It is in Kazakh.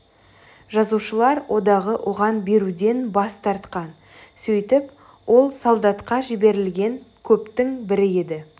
жазушылар одағы оған беруден бас тартқан сөйтіп ол солдатқа жіберілген көптің бірі еді